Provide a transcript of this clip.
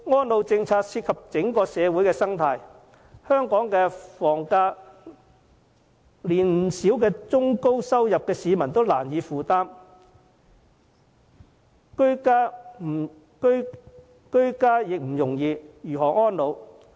安老政策涉及整個社會的生態，香港的房價連不少中、高收入的市民也難以負擔，居家已不容易，遑論安老？